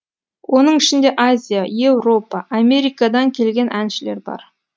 оның ішінде азия еуропа америкадан келген әншілер бар